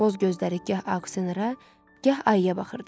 Boz gözləri gah aksenerə, gah ayıya baxırdı.